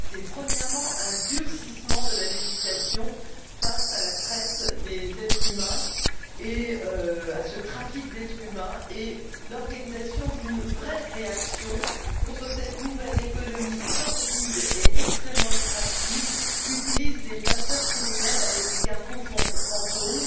Premièrement, un durcissement de la législation face à la traite, à ce trafic d'êtres humains et l'organisation d'une vraie réaction contre cette nouvelle économie sordide et extrêmement lucrative qu'utilisent les passeurs criminels avec les cargos fantômes.